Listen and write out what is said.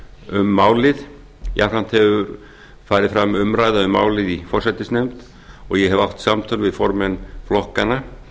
um málið jafnframt hefur farið fram umræða um málið í forsætisnefnd og ég hef átt samtöl við formenn flokkanna